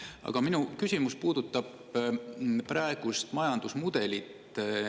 Aga minu küsimus puudutab praegust majandusmudelit.